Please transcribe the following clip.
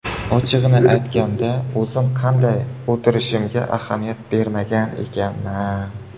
Ochig‘ini aytganda, o‘zim qanday o‘tirishimga ahamiyat bermagan ekanman.